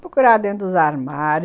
Procurava dentro dos armários.